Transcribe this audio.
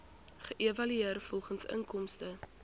geëvalueer volgens inkomste